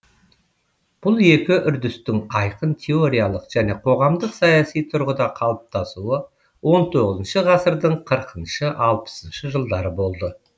бұл екі үрдістің айқын теориялық және қоғамдық саяси тұрғыда қалыптасуы он тоғызыншы ғасырдың қырқыншы алпысыншы жылдары болды